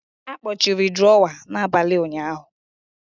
A kpọchiri drawer n'abalị ụnyahụ.